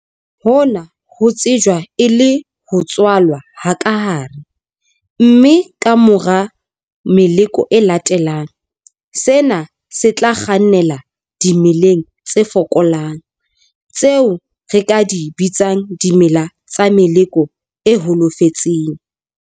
Hona ho tsejwa e le ho tswalwa ha ka hare, mme ka mora meloko e latelang, sena se tla kgannela dimeleng tse fokolang, tseo re ka di bitsang dimela tsa meloko e holofetseng.